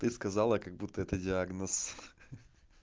ты сказала как будто это диагноз хи-хи